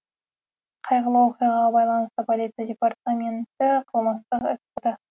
қайғылы оқиғаға байланысты полиция департаменті қылмыстық іс қозғады